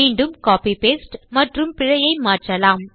மீண்டும் copy paste மற்றும் பிழையை மாற்றலாம்